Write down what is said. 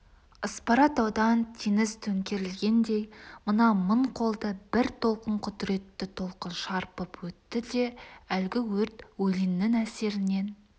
аспара таудан теңіз төңкерілгендей мына мың қолды бір толқын құдіретті толқын шарпып өтті де әлгі өрт өлеңнің әсерінен